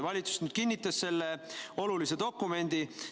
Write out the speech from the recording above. Valitsus kinnitas selle olulise dokumendi.